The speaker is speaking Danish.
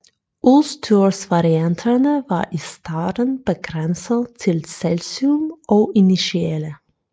Udstyrsvarianterne var i starten begrænset til Celsium og Initiale